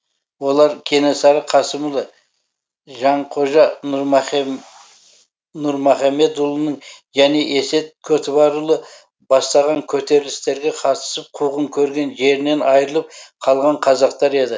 олар кенесары қасымұлы жанқожа нұрмұхамедұлының және есет көтібарұлы бастаған көтерілістерге қатысып қуғын көрген жерінен айрылып қалған қазақтар еді